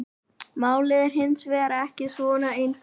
Málið er hins vegar ekki svona einfalt.